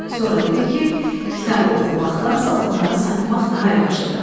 Sonra dedi ki, kitabı oxumaqdansa onları satmaq daha yaxşıdır.